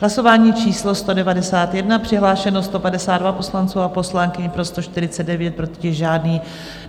Hlasování číslo 191, přihlášeno 152 poslanců a poslankyň, pro 149, proti žádný.